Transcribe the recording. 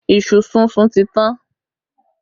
Iṣu súnsun ti tán